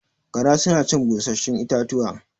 Gara suna cin busasshun itatuwa